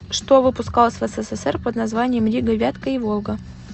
что выпускалось в ссср под названием рига вятка и волга